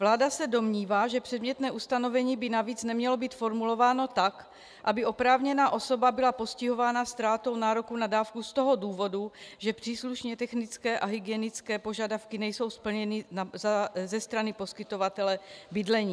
Vláda se domnívá, že předmětné ustanovení by navíc nemělo být formulováno tak, aby oprávněná osoba byla postihována ztrátou nároku na dávku z toho důvodu, že příslušně technické a hygienické požadavky nejsou splněny ze strany poskytovatele bydlení.